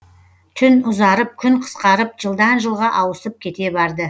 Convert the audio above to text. тун ұзарып күн қысқарып жылдан жылға ауысып кете барды